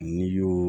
N'i y'o